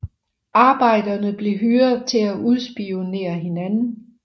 Arbejderne blev hyret til at udspionere hinanden